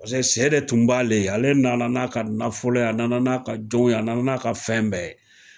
Paseke sɛ de tun b'ale, ale nana n'a ka nafolo ye, a nana n'a ka jɔn ye, a nana n'a ka fɛn bɛɛ ye.